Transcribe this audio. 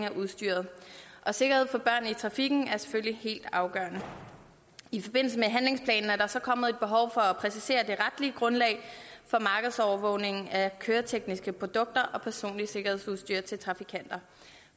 af udstyret sikkerhed for børn i trafikken er selvfølgelig helt afgørende i forbindelse med handlingsplanen er der så kommet et behov for at præcisere det retlige grundlag for markedsovervågning af køretekniske produkter og personligt sikkerhedsudstyr til trafikanter